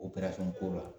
O ko la